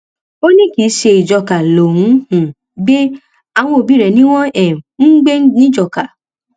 ó ní kì í ṣe ìjọká ló ń um gbé àwọn òbí rẹ ni wọn um ń gbé nìjọkà